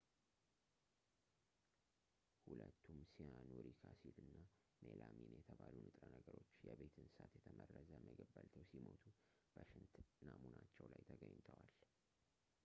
ሁለቱም ሲያኑሪክ አሲድ እና ሜላሚን የተባሉ ንጥረ ነገሮች የቤት እንስሳት የተመረዘ ምግብ በልተው ሲሞቱ በሽንት ናሙናቸው ላይ ተገኝተዋል